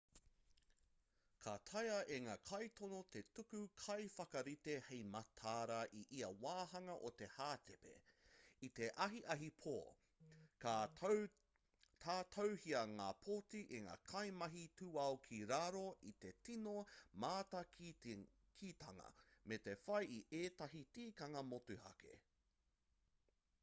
ka taea e ngā kaitono te tuku kaiwhakarite hei mataara i ia wāhanga o te hātepe i te ahiahi pō ka tatauhia ngā pōti e ngā kaimahi tūao ki raro i te tino mātakitanga me te whai i ētahi tikanga motuhake